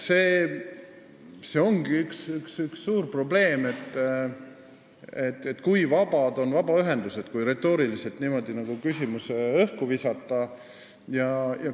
See ongi üks suur probleem – kui vabad on vabaühendused, kui niimoodi retooriliselt küsimus õhku visata.